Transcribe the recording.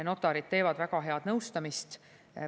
Notarid teevad väga head nõustamist.